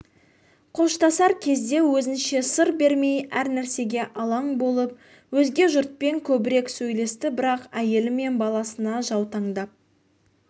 қоштасар кезде өзінше сыр бермей әр нәрсеге алаң болып өзге жұртпен көбірек сөйлесті бірақ әйелі мен баласына жаутаңдап